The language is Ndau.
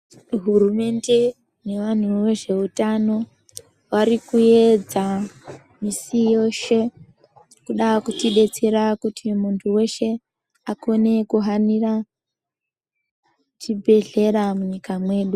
Hurumende nevantu vezveutano varikuedza musi yeshe kuda kutidetsera kuti muntu weshe akone kuhanira chibhedhlera munyika medu.